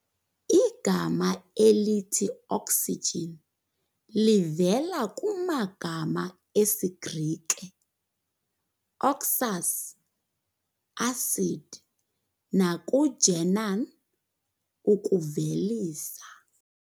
Igama elithi oxygen livela kumagama esiGrike - oxus, acid, naku-gennan, ukuvelisa.